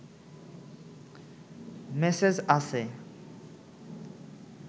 message আছে